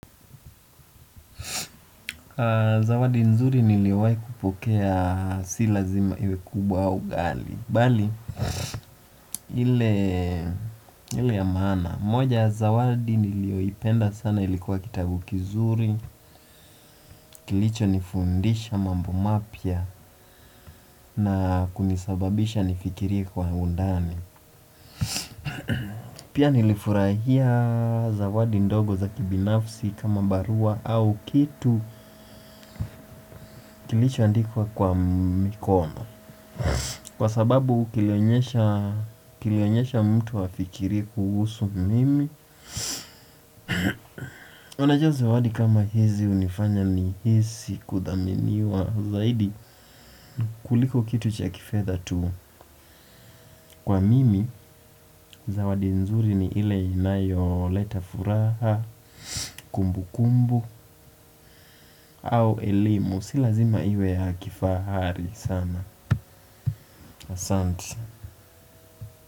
Zawadi nzuri niliwai kupokea si lazima iwe kubwa au ghali. Bali, ile ya maana. Moja, zawadi niliyoipenda sana ilikuwa kitabu kizuri. Kilicho nifundisha mambo mapya na kunisababisha nifikirie kwa undani. Pia nilifurahia zawadi ndogo za kibinafsi kama barua au kitu kilicho andikwa kwa mikono. Kwa sababu kilionyesha mtu hafikirii kuhusu mimi unajua zawadi kama hizi hunifanya ni hisi kudhaminiwa zaidi kuliko kitu cha kifetha tu kwa mimi zawadi nzuri ni ile inayo leta furaha, kumbukumbu au elimu si lazima iwe ya kifahari sana asante.